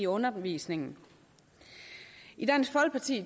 undervisningen i dansk folkeparti